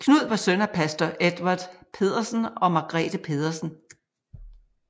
Knud var søn af Pastor Edvard Pedersen og Margrethe Pedersen